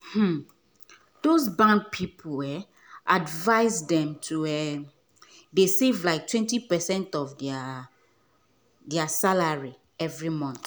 um those bank people advice them to um dey save like 20 percent of um there salary every month.